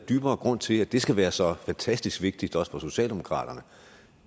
dybere grund til at det skal være så fantastisk vigtigt også for socialdemokratiet